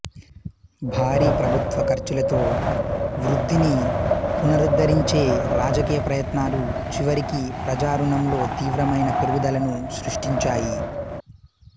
భారీ ప్రభుత్వ ఖర్చులతో వృద్ధిని పునరుద్ధరించే రాజకీయ ప్రయత్నాలు చివరికి ప్రజా రుణంలో తీవ్రమైన పెరుగుదలను సృష్టించాయి